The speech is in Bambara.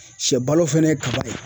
Sɛbalo fɛnɛ ye kaba ye.